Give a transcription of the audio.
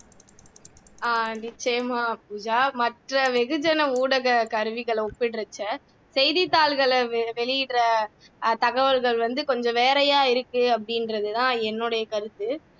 ஆஹ் நிச்சயமா பூஜா மற்ற வெகுஜன ஊடக கருவிகளை ஒப்பிடறப்ப செய்தி தாள்ல வெளியிடுற அஹ் தகவல்கள் வந்து கொஞ்சம் வேறையா இருக்கு அப்படின்றதுதான் என்னுடைய கருத்து